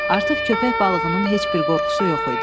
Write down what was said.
Artıq köpək balığının heç bir qorxusu yox idi.